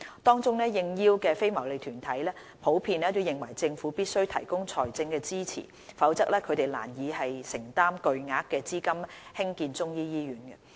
當中，應邀的非牟利團體普遍認為政府必須提供財政支持，否則它們難以承擔巨額資金興建中醫醫院。